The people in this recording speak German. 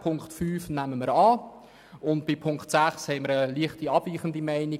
Punkt 5 nehmen wir an, und bei Punkt 6 haben wir eine leicht abweichende Meinung.